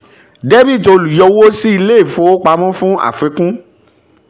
dr olùyọwó sí ilé-ìfowópamọ́ fún àfikún